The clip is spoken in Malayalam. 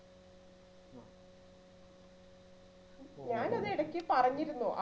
ഞാനത് എടയ്ക്ക് പറഞ്ഞിരുന്നു.